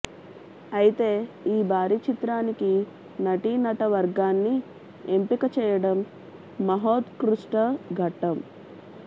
అయితే ఈ భారీ చిత్రానికి నటీ నటవర్గాన్ని ఎంపిక చేయటం మహోత్కృష్ట ఘట్టం